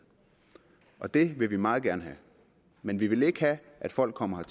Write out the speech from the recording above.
og det vil vi meget gerne have men vi vil ikke have at folk kommer